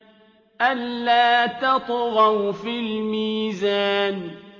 أَلَّا تَطْغَوْا فِي الْمِيزَانِ